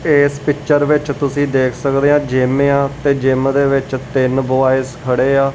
ਏਸ ਪਿਕਚਰ ਵਿੱਚ ਤੁਸੀ ਦੇਖ ਸਕਦੇਆ ਜਿੱਮ ਆ ਤੇ ਜਿੱਮ ਦੇ ਵਿੱਚ ਤਿੰਨ ਬੌਏਜ਼ ਖੜ੍ਹੇ ਹਾਂ।